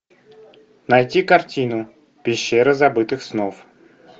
найти картину пещера забытых снов